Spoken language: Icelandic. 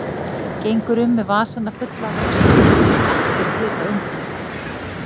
Gengur um með vasana fulla af drasli og þykist ekkert vita um það.